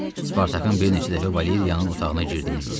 Spartakın bir neçə dəfə Valeriyanın otağına girdiyini gördüm.